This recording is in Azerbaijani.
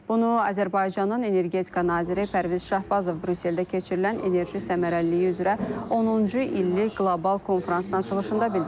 Bunu Azərbaycanın energetika naziri Pərviz Şahbazov Brüsseldə keçirilən enerji səmərəliliyi üzrə 10-cu illik qlobal konfransın açılışında bildirib.